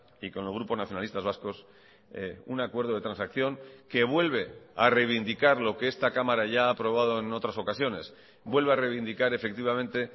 y con el grupo nacionalistas vascos un acuerdo de transacción que vuelve a reivindicar lo que esta cámara ya ha aprobado en otras ocasiones vuelve a reivindicar efectivamente